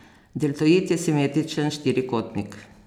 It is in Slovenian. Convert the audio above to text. Deltoid je simetričen štirikotnik.